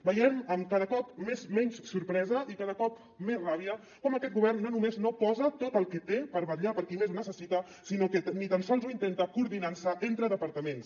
veiem amb cada cop menys sorpresa i cada cop més ràbia com aquest govern no només no posa tot el que té per vetllar per qui més ho necessita sinó que ni tan sols ho intenta coordinant se entre departaments